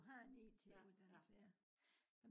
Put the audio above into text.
du har en it uddannelse ja